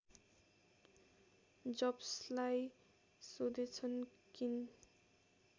जब्सलाई सोधेछन् किन